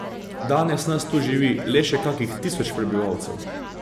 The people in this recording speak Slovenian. Danes nas tu živi le še kakih tisoč prebivalcev.